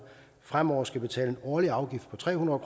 fremover skal betale en årlig afgift på tre hundrede